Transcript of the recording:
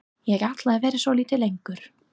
Ég ætla að vera svolítið lengur.